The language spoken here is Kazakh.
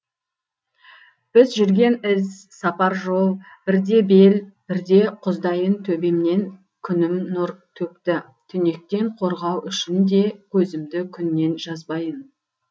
біз жүрген із сапар жол бірде бел бірде құздайын төбемнен күнім нұр төкті түнектен қорғану үшін де көзімді күннен жазбайын